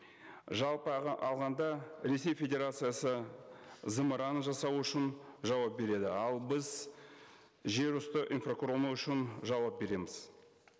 жалпы алғанда ресей федерациясы зымыран жасау үшін жауап береді ал біз жер үсті инфрақұрылымы үшін жауап береміз